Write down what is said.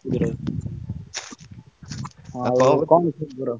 ସୁଧୀର ଭାଇ।